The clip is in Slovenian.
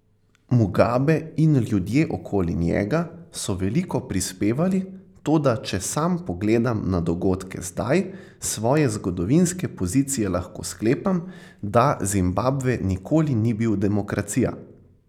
Mugabe in ljudje okoli njega so veliko prispevali, toda če sam pogledam na dogodke zdaj, s svoje zgodovinske pozicije lahko sklepam, da Zimbabve nikoli ni bil demokracija.